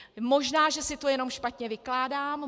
Možná že si to jenom špatně vykládám.